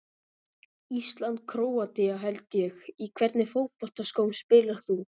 Ísland-Króatía held ég Í hvernig fótboltaskóm spilar þú?